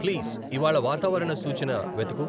Please ఇవ్వాళ వాతావరణ సూచన వెతుకు.